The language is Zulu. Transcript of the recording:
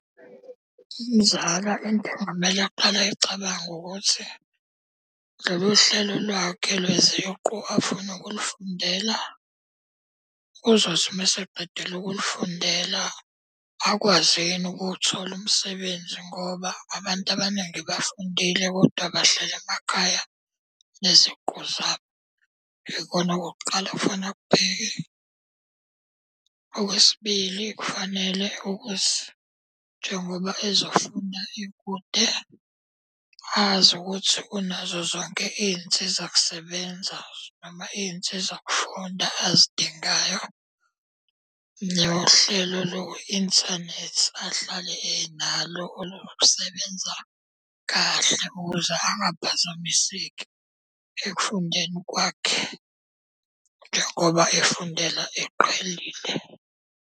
Umzala into okungamele aqale ayicabange ukuthi, lolu hlelo lwakhe lweziqu afuna ukulufundela, uzothi uma eseqedile ukulufundela akwazi yini ukuthola umsebenzi ngoba abantu abaningi bafundile kodwa bahleli emakhaya neziqu zabo. Yikona okokuqala, okufaneke akubheke. Okwesibili kufanele ukuthi njengoba ezofuna ikude, azi ukuthi unazo zonke iy'nsiza kusebenza noma iy'nsiza kufunda azidingayo. Nohlelo lo inthanethi ahlale enalo olusebenza kahle ukuze angaphazamiseki ekufundeni kwakhe njengoba efundela eqhelile.